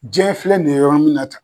Jiɲɛ filɛ nin ye yɔrɔ min na tan